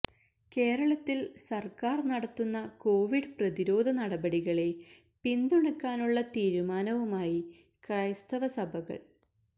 കേരളത്തിൽ സർക്കാർ നടത്തുന്ന കൊവിഡ് പ്രതിരോധ നടപടികളെ പിന്തുണക്കാനുള്ള തീരുമാനവുമായി ക്രൈസ്തവ സഭകൾ